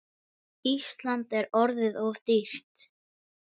Ísland er orðið of dýrt.